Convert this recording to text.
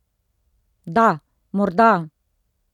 Da, morda!